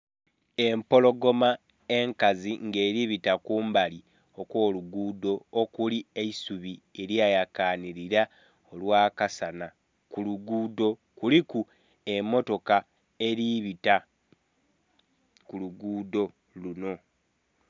Empologoma enkazi nga eriku bita kumbali okwo lugudho okuli eisubi elya yakanhilila olwakasana. Ku lugudho kuliku emotoka eribita ku lugudho lunho.